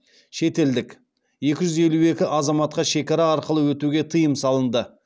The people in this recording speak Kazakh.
шетелдік екі жүз елу екі азаматқа шекара арқылы өтуге тыйым салынды